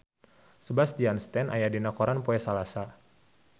Sebastian Stan aya dina koran poe Salasa